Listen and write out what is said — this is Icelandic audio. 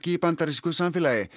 í bandarísku samfélagi